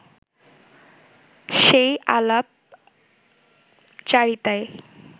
সেই আলাপচারিতায়